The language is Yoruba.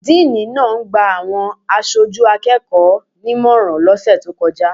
Díìní náà ń gba àwọn aṣojú akẹ́kọ̀ọ́ nímọ̀ràn lọ́sẹ̀ tó kọjá.